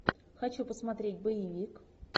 хочу посмотреть боевик